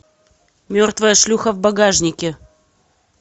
мертвая шлюха в багажнике